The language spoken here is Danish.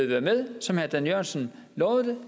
være med som herre dan jørgensen lovede det